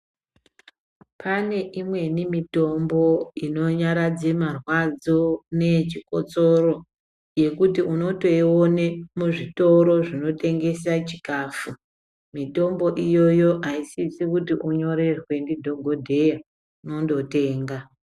Pane imweni mitombo inonyaradze marwadzo neyechikotsoro yekuti unotoione muzvitoro zvinotengesa chikafu, mitombo iyoyo aisisi kuti unyorerwe ndidhokodheya, unondotenga.